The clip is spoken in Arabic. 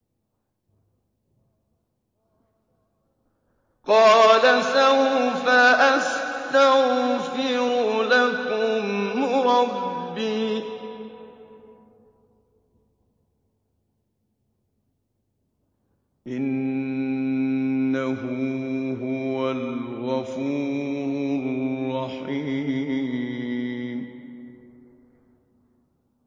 قَالَ سَوْفَ أَسْتَغْفِرُ لَكُمْ رَبِّي ۖ إِنَّهُ هُوَ الْغَفُورُ الرَّحِيمُ